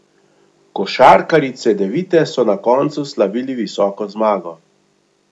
Košarkarji Cedevite so na koncu slavili visoko zmago.